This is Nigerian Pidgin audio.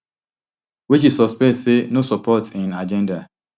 wey she suspect say no support im agenda